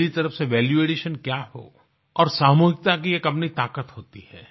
मेरी तरफ से वैल्यू एडिशन क्या हो और सामूहिकता की अपनी एक ताकत होती है